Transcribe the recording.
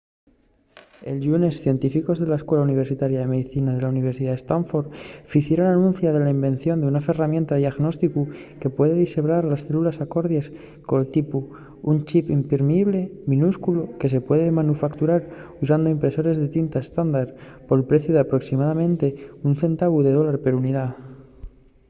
el llunes científicos de la escuela universitaria de medicina de la universidad de stanford ficieron anuncia de la invención d’una ferramienta de diagnósticu que puede dixebrar les célules acordies col tipu: un chip imprimible minúsculu que se puede manufacturar usando impresores de tinta estándar pol preciu d’aproximadamente un centavu de dólar per unidá